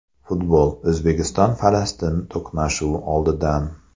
Futbol: O‘zbekiston Falastin to‘qnashuvi oldidan.